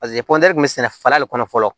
paseke kɔntini be sɛnɛ fara de kɔnɔ fɔlɔ